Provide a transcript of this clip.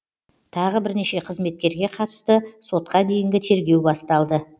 тағы бірнеше қызметкерге қатысты сотқа дейінгі тергеу басталды